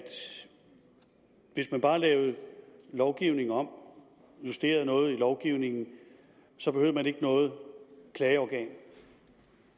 hvis man bare lavede lovgivningen om justerede noget i lovgivningen så behøvede man ikke noget klageorgan